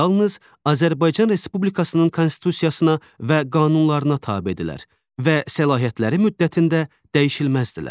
Yalnız Azərbaycan Respublikasının Konstitusiyasına və qanunlarına tabedirlər və səlahiyyəti müddətində dəyişilməzdirlər.